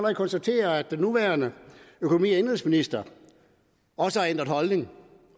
konstatere at den nuværende økonomi og indenrigsminister også har ændret holdning